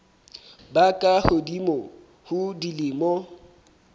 ba ka hodimo ho dilemo